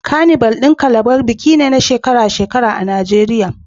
Carnival na Calabar biki ne na shekara-shekara a Najeriya